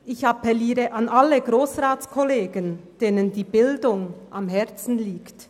Ich appelliere an alle Grossratskollegen, denen die Bildung am Herzen liegt.